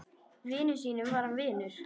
Vinum sínum var hann vinur.